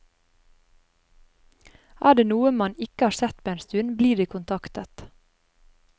Er det noen man ikke har sett på en stund, blir de kontaktet.